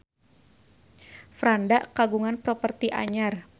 Franda kagungan properti anyar